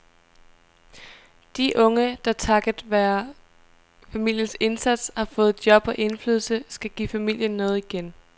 De unge, der takket være familiens indsats har fået job og indflydelse, skal give familien noget igen.